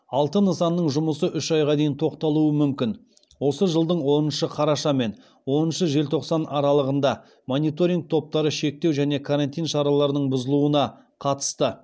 алты нысанның жұмысы үш айға дейін тоқтатылуы мүмкін осы жылдың оныншы қараша мен оныншы желтоқсан аралығында мониторинг топтары шектеу және карантин шараларының бұзылуына қатысты